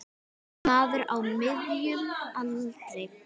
Maður á miðjum aldri.